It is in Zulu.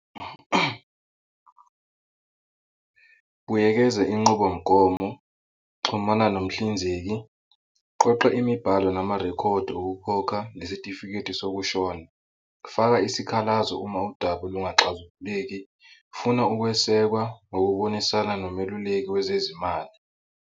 Buyekeza inqubomgomo, xhumana nomhlinzeki, qoqa imibhalo namarekhodi okukhokha nesitifiketi sokushona, faka isikhalazo uma udaba lungaxazululeki, funa ukwesekwa ngokubonisana nomeluleki wezezimali.